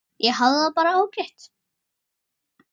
Ég hafði það bara ágætt.